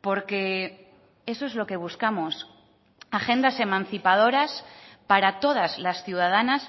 porque eso es lo que buscamos agendas emancipadoras para todas las ciudadanas